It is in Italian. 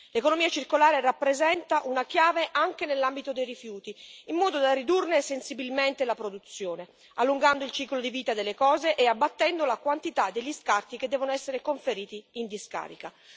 L'economia circolare rappresenta una chiave anche nell'ambito dei rifiuti, in modo da ridurne sensibilmente la produzione, allungando il ciclo di vita delle cose e abbattendo la quantità degli scarti che devono essere conferiti in discarica.